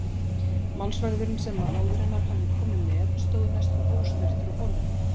Málsverðurinn sem móðir hennar hafði komið með stóð næstum ósnertur á borðinu.